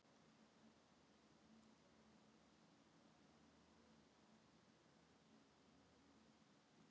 Ekki var þar nefnt að öðrum en dönskum væri meinað að versla við íslendinga.